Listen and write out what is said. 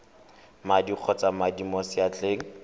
madi kgotsa madi mo seatleng